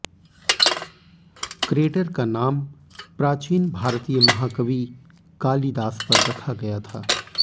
crater का नाम प्राचीन भारतीय महाकवि कालीदास पर रखा गया था